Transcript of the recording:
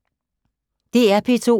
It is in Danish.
DR P2